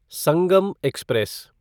Sangam express